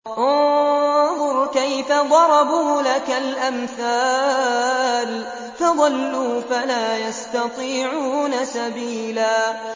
انظُرْ كَيْفَ ضَرَبُوا لَكَ الْأَمْثَالَ فَضَلُّوا فَلَا يَسْتَطِيعُونَ سَبِيلًا